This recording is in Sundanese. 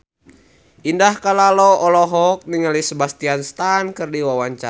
Indah Kalalo olohok ningali Sebastian Stan keur diwawancara